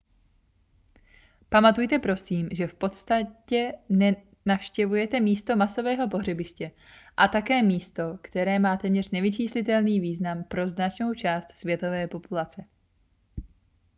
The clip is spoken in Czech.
pamatujte prosím že v podstatě navštěvujete místo masového pohřebiště a také místo které má téměř nevyčíslitelný význam pro značnou část světové populace